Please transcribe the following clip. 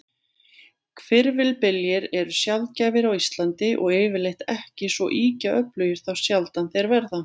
Hvirfilbyljir eru sjaldgæfir á Íslandi, og yfirleitt ekki svo ýkja öflugir þá sjaldan þeir verða.